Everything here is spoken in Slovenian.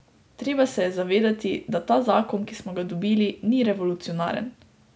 Treba se je zavedati, da ta zakon, ki smo ga dobili, ni revolucionaren.